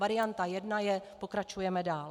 Varianta jedna je - pokračujeme dál.